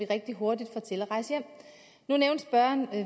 rigtig hurtigt nu nævnte spørgeren